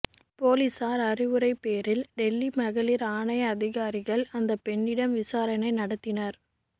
பொலிசார் அறிவுரை பேரில் டில்லி மகளிர் ஆணைய அதிகாரிகள் அந்த பெண்ணிடம் விசாரணை நடத்தினர்